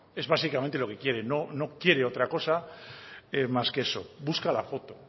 es básicamente lo que quiere no quiere otra cosa más que eso busca la foto